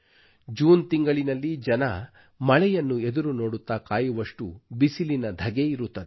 June ತಿಂಗಳಿನಲ್ಲಿ ಜನರು ಮಳೆಯನ್ನು ಎದುರು ನೋಡುತ್ತಾ ಕಾಯುವಷ್ಟು ಬಿಸಿಲಿನ ಧಗೆ ಇರುತ್ತದೆ